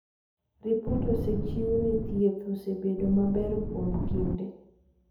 ripot osechiw ni thieth osebedo maber kuom kinde